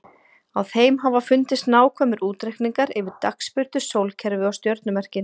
Á þeim hafa fundist nákvæmir útreikningar yfir dagsbirtu, sólkerfið og stjörnumerkin.